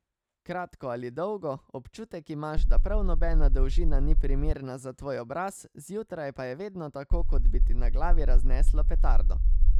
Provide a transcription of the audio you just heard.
Kratko ali dolgo, občutek imaš, da prav nobena dolžina ni primerna za tvoj obraz, zjutraj pa je vedno tako, kot bi ti na glavi razneslo petardo ...